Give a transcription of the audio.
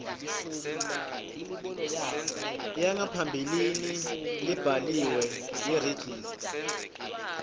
yangaphambilini lebhaliwe yeregistrar